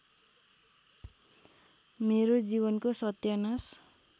मेरो जीवनको सत्यानाश